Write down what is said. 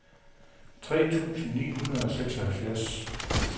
tre tusind ni hundrede og seksoghalvfjerds